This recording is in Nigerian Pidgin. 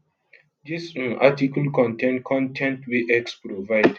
dis um article contain con ten t wey x provide